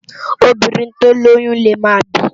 Óbírìn tó ni óyùn lé má bìí